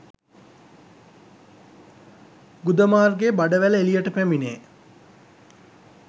ගුද මාර්ගයේ බඩවැල එළියට පැමිණේ.